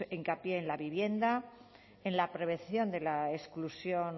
y hace hincapié en la vivienda en la prevención de la exclusión